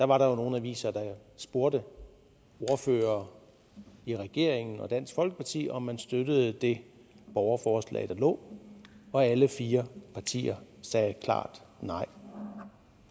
var der nogle aviser der spurgte ordførere i regeringen og dansk folkeparti om man støttede det borgerforslag der lå og alle fire partier sagde klart nej